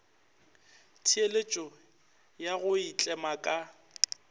theeletšo ya go itlema ka